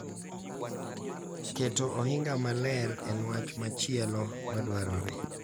Keto ohinga maler en wach machielo ma dwarore .